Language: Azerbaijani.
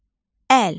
Əl.